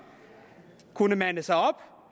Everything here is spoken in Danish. kunne mande sig op